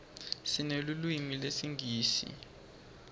sinelulwimi lesingisi